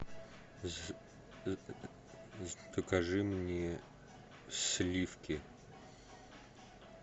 закажи мне сливки